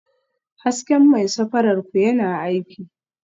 Hasken mai safarar ku yana aiki?